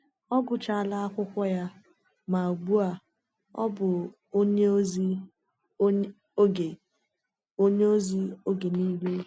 Ọ gụchaala akwụkwọ ya, ma ugbu a ọ bụ onye ozi oge onye ozi oge nile.